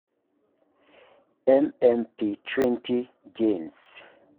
MMP20 genes.